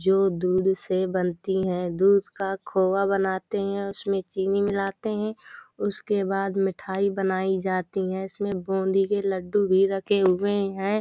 जो दूध से बनती हैं। दूध का खोवा बनाते हैं उसमें चीनी मिलाते हैं। उसके बाद मिठाई बनाई जाती हैं। इसमें बूंदी के लड्डू भी रखे हुए हैं।